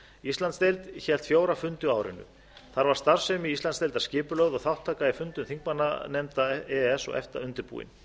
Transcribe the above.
íslandsdeild hélt fjóra fundi á árinu þar var starfsemi íslandsdeildar skipulögð og þátttaka í fundum þingmannanefnda e e s og efta undirbúin